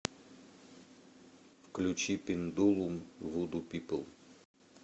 включи пендулум вуду пипл